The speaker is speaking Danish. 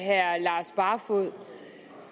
herre lars barfoed